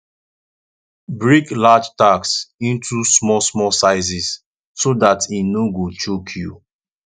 break large task into small small sizes so dat e no go choke you